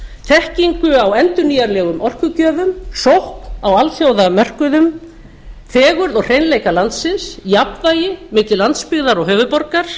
þekkingu á endurnýjanlegum orkugjöfum sókn á alþjóðamörkuðum fegurð og hreinleika landsins jafnvægi milli landsbyggðar og höfuðborgar